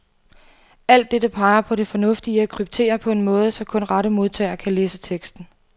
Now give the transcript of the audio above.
Alt dette peger på det fornuftige i at kryptere på en måde, så kun rette modtager kan læse teksten.